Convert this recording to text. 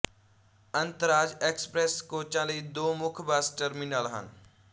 ਅੰਤਰਰਾਜ express ਕੋਚਾਂ ਲਈ ਦੋ ਮੁੱਖ ਬੱਸ ਟਰਮੀਨਲ ਹਨ